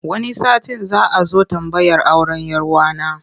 Wani satin za a zo tambayar auren 'yar wa na.